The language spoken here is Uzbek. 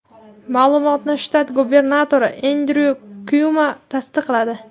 Ma’lumotni shtat gubernatori Endryu Kuomo tasdiqladi.